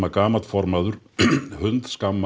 gamall formaður hundskammi